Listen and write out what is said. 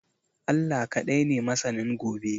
Allah ka dai ne masanin gobe